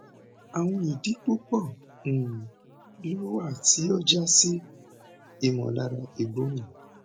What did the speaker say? awọn idi pupọ um lo wa ti o ja si imolara igbona